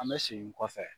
An bɛ segin kɔfɛ